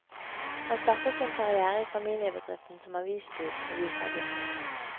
Han startet sin karrière i familiebedriften som avisbud og visergutt.